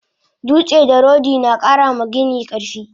Dutse da rodi nakara ma gini karfi